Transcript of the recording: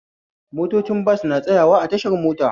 Motocin bas na tsayawa a tashar mota